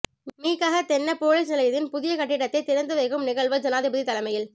Meegahatenna police நிலையத்தின் புதிய கட்டிடத்தை திறந்து வைக்கும் நிகழ்வு ஜனாதிபதி தலைமையில்